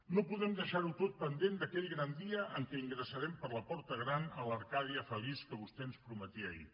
no podem deixarho tot pendent d’aquell gran dia en què ingressarem per la porta gran a l’arcàdia feliç que vostè ens prometia ahir